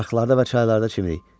Arxalarda və çaylarda çimirik.